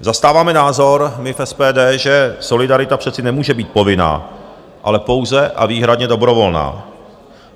Zastáváme názor, my v SPD, že solidarita přece nemůže být povinná, ale pouze a výhradně dobrovolná.